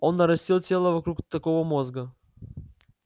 он нарастил тело вокруг такого мозга